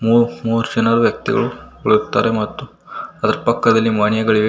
ಮೂರ ಮೂರ ಜನ ವ್ಯಕ್ತಿಗಳು ಕುಳಿತಿದ್ದಾರೆ ಮತ್ತು ಅದರ ಪಕ್ಕದಲಿ ಮನೆಯಗಳಿವೆ.